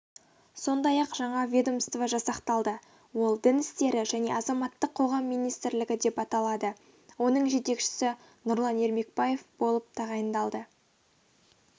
сондай-ақ жаңа ведомство жасақталды ол дін істері және азаматтық қоғам министрлігі деп аталады оның жетекшісі нұрлан ермекбаев болып тағайындалды